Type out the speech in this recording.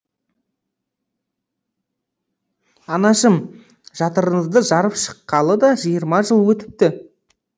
анашым жатырыңызды жарып шыққалы да жиырма жыл өтіпті